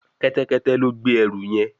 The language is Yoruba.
Kẹ́tẹ́kẹ́tẹ́ ló gbé ẹrù yén.